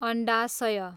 अन्डाशय